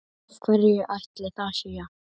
Af hverju ætli það sé?